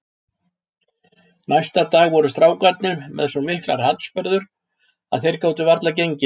Næsta dag voru strákarnir með svo miklar harðsperrur að þeir gátu varla gengið.